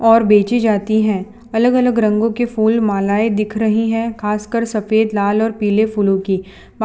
और बेची जाती हैं अलग अलग रंगों के फूल मालाएं दिख रही हैं खासकर सफेद लाल और पीले फूलों की